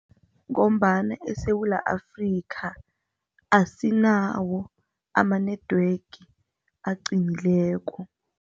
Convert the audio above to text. Ngombana eSewula Afrika asinawo ama-network aqinileko.